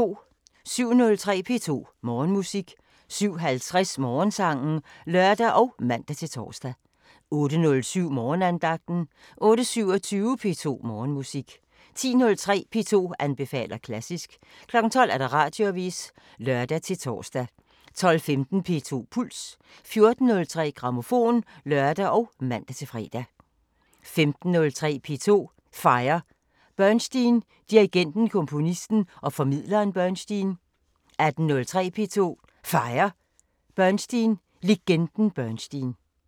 07:03: P2 Morgenmusik 07:50: Morgensangen (lør og man-tor) 08:07: Morgenandagten 08:27: P2 Morgenmusik 10:03: P2 anbefaler klassisk 12:00: Radioavisen (lør-tor) 12:15: P2 Puls 14:03: Grammofon (lør og man-fre) 15:03: P2 Fejrer Bernstein: Dirigenten, komponisten og formidleren Bernstein 18:03: P2 Fejrer Bernstein: Legenden Bernstein